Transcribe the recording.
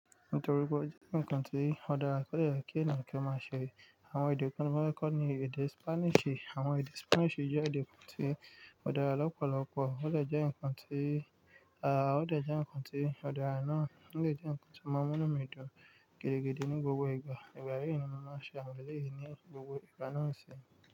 Nítorí pé ó jẹ́ nǹkan tí ọ̀dara kò dẹ yẹ kí ènìyàn ki omáa ṣe. Àwọn èdè kan ti mo fẹ kọ́ ni èdè ti Spanish. Àwọn èdè Spanish jẹ́ èdè kan tí odara lọ́pọ̀lọ́pọ̀, ó dẹ jẹ́ nǹkan tí, aá ó dẹ jẹ́ nǹkan tí odara náà o lè jẹ́ nǹkan tí máa ń mu inú mi dun gidi gidi ní gbogbo ìgbà. Ìgbà yìí ni mo máa ń ṣe àwúlẹ̀ yìí ní gbogbo ìgbà náà ṣe.